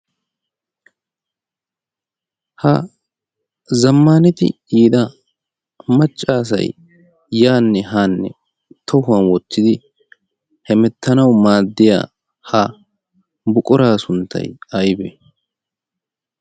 Ha zammanati yiida maccassay yaanne haanne tohuwan wottidi hemettanawu maaddiyaa ha buquraa sunttay aybbe?